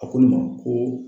A ko ne ma ko